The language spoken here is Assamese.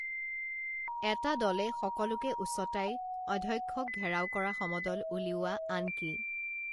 এটা দলে সকলোকে উচতাই অধ্যক্ষক ঘেৰাও কৰা সমদল উলিওৱা আনকি